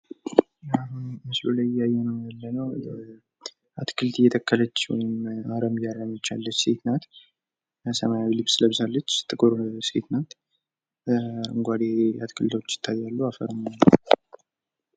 ምስሉ የሚያሳየው አንዲት ሴት አታክልት እየተከለች ወይም አረም እያርመች የሚያሳይ ሲሆን ፤ ልጅቱ ጥቁር ናት። እንዲሁም በዙሪያዋ አረንጓዴ ተክሎች ይታያሉ።